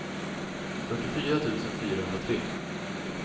fyrtiofyra tusen fyrahundratre